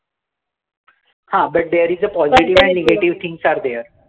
हां, but there is positive and negative things are there